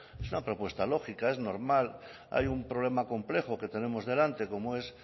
es una propuesta lógica es normal hay un problema complejo que tenemos delante como es